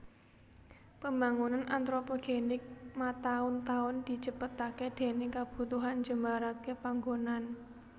Pembangunan antropogenik mataun taun dicepetaké déning kabutuhan njembaraké panggonan